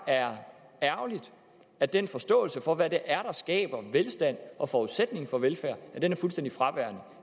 er ærgerligt at den forståelse for hvad det er der skaber velstand og forudsætningen for velfærd er fuldstændig fraværende